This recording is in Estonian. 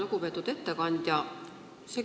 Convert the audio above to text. Lugupeetud ettekandja!